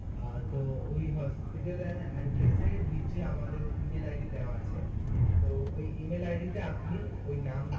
অ্যাঁ তো ঐ এর নিচে আমাদের মেইল আইডি দেওয়া আছে তো ঐ ইমেল আইডিটা আপনি ঐ নাম